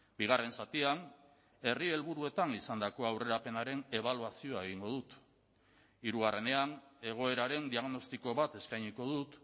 bigarren zatian herri helburuetan izandako aurrerapenaren ebaluazioa egingo dut hirugarrenean egoeraren diagnostiko bat eskainiko dut